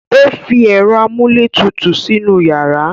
O fi ẹ̀rọ amúlétutù sínú yàrá.